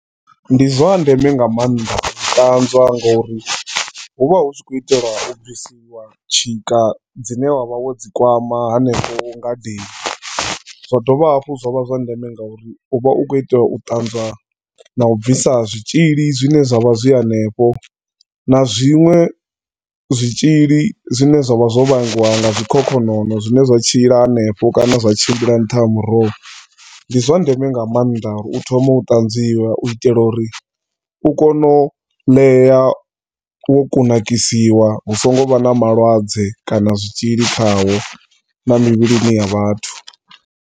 Ndi zwa ndeme nga maanḓa u dzi tanzwa nga uri huvha hukho itelwa ubvisiwa tshika dzine wavha wo dzikwama hanefho ngadeni. Zwadovha hafhu zwavha zwa ndeme ngauri uvha ukho itela utanzwa na ubvisa zwitshili zwine zwavha zwi hanefho na zwinwe zwitshili zwine zwavha zwo vhangiwa nga zwikhokhonono zwine zwa tshila hanefho kana zwatshimbila nṱhaha muroho. Ndi zwa ndeme nga maanḓa uri uthome u ṱanzwiwe u itela uri ukone uḽea wo kunakisiwa hu so ngo vha na malwadze kana zwitzhili khawo na mivhili ya vhathu.